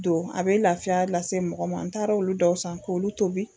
Don a bɛ lafiya lase mɔgɔ ma n taara olu dɔw san k'olu tobi